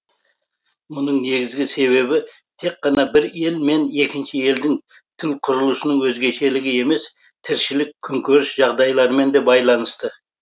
мұның негізгі себебі тек қана бір ел мен екінші елдің тіл құрылысының өзгешелігі емес тіршілік күнкөріс жағдайларымен де байланысты